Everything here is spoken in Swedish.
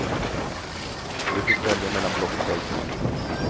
Vi fick välja mellan blockflöjt och mandolin.